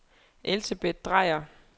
Elsebeth Drejer